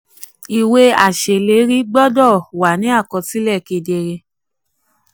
ìwé aṣèlérí gbọ́dọ̀ wà aṣèlérí gbọ́dọ̀ wà ní àkọsílẹ̀ kedere.